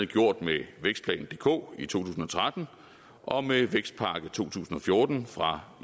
gjort med vækstplan dk i to tusind og tretten og med vækstpakke to tusind og fjorten fra